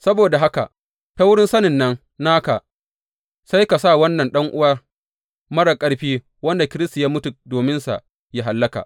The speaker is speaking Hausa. Saboda haka ta wurin sanin nan naka sai ka sa wannan ɗan’uwa marar ƙarfi wanda Kiristi ya mutu dominsa yă hallaka.